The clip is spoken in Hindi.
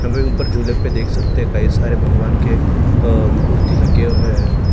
हम एक ऊपर झूले पे देख सकते हैं कई सारे भगवान के अ मूर्ति लगे हुए हैं।